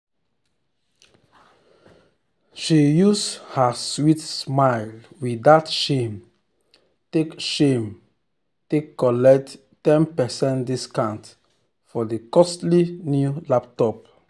she use her sweet smile without shame um take shame um take collect ten percent discount um for the costly new laptop. um